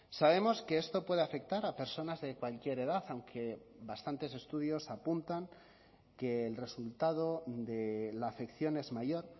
sabemos que esto puede afectar a personas de cualquier edad aunque bastantes estudios apuntan que el resultado de la afección es mayor